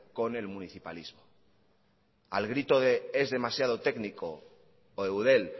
con el municipalismo al grito de es demasiado técnico o eudel